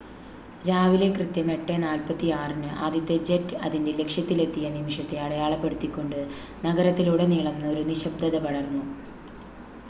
രാവിലെ കൃത്യം 8:46-ന് ആദ്യത്തെ ജെറ്റ് അതിന്റെ ലക്ഷ്യത്തിലെത്തിയ നിമിഷത്തെ അടയാളപ്പെടുത്തിക്കൊണ്ട് നഗരത്തിലുടനീളം ഒരു നിശബ്‌ദത പടർന്നു